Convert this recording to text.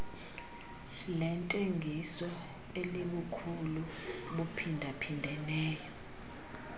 lentengiso elibukhulu buphindaphindeneyo